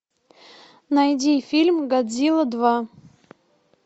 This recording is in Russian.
найди фильм годзилла два